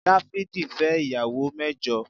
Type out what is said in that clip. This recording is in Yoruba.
Dáfídì fẹ́ ìyàwó mẹ́jọ